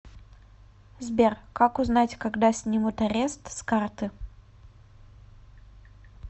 сбер как узнать когда снимут арест с карты